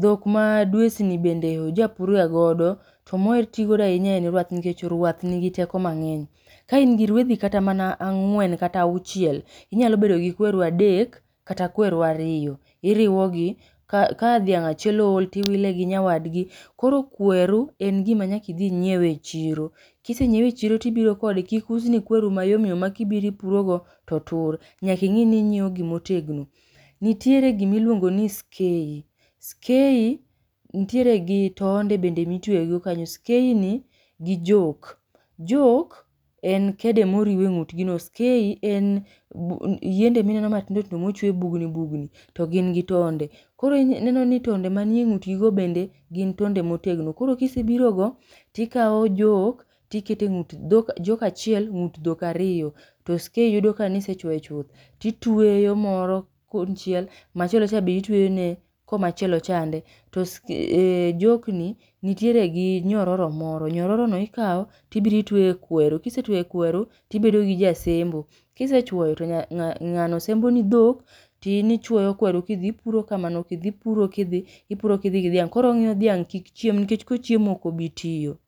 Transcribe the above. dhok ma dwesni bende oja pur ga godo to moher tigodo ahinya en rwath nikech rwath nigi teko mang'eny. Ka in gi rwedhi kata mana ang'wen kata auchiel, inyalo bedo gi kweru adek kata kweru ariyo, iriwo gi ka ka dhiang' achiel ool tiwile gi nyawadgi. Koro kweru en gima nyaka idi inyiewe e chiro, kisenyiewe e chiro to ibiro kode kik usni kweru ma yom yom ma ka ibiro ibiro ipuro go to tur, nyaka ing'i ni inyieo gima otegno. Nitiere gima iluongo ni skey, skey nitiere gi tonde bende ma itweye go kanyo. Skey ni gi joke, joke en kede ma iriu e ng'utgi no, skey en yiende ma ineno matingo tindo mochuo e bugni bugni to gin gi tonde. Koro ineno ni tonde ma ni e ng'utgi go bende gin tonde ma otegno. Koro ka isebiro go to ikao joke to ikete e ng'ut dhiang' , joke achiel ng'ut dhok ariyo, to skey yudo ka ne isechuoyo chuth, titweyo moro konychiel machielo cha be itweyone koma chielo chande. To ske joke ni nitiere gi nyororo moro. Nyororo no ikao tibiro itweyo e kweru, kisetweyo e kweru to ibedo gi ja sembo. kisechwoyo to nya ng'ano sembo ni dhok to in ichwoyo kweru ka idhi, ipuro kamano ka idhi, ipuro kidhi, ipuro kidhi gi dhiang'. Koro ong'iyo dhiang' kik chiem nikech kochiemo ok obi tiyo.